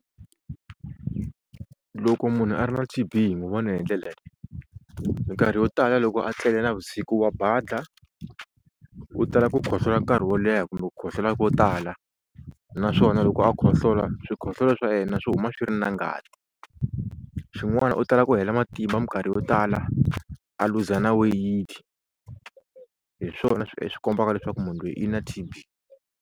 Loko munhu a ri na T_B hi n'wi vona hi ndlela leyi minkarhi yo tala loko a tlele navusiku wa badla, u tala ku khohlola nkarhi wo leha kumbe ku khohlola ko tala, naswona loko a khohlola swi khohlola swa yena swi huma swi ri na ngati, xin'wana u tala ku hela matimba minkarhi yo tala a luza na weyiti hi swona kombaka leswaku munhu lweyi i na T_B.